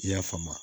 I y'a faamu